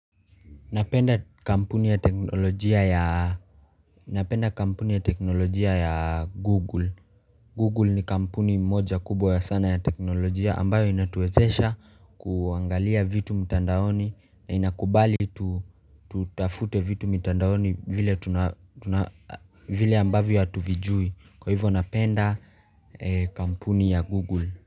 Napenda kampuni ya teknolojia ya Google Google ni kampuni moja kubwa sana ya teknolojia ambayo inatuwezesha kuangalia vitu mtandaoni na inakubali tutafute vitu mtandaoni vile ambavyo hatuvijui kwa hivyo napenda kampuni ya Google.